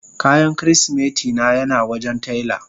Kayan kirisimeti na yana wajen taila.